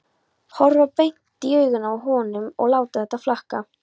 Horfa beint í augun á honum og láta þetta flakka.